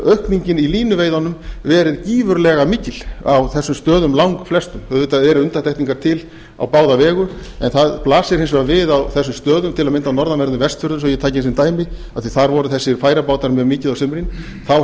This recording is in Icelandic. aukningin í línuveiðunum verið gífurlega mikil á þessum stöðum langflestum auðvitað eru undantekningar til á báða vegu en það blasir hins vegar við á þessum stöðum til að mynda á norðanverðum vestfjörðum svo að ég taki sem dæmi af því að þar voru þessir færabátar með mikið á sumrin þá